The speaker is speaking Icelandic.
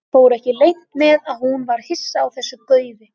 Fór ekki leynt með að hún var hissa á þessu gaufi.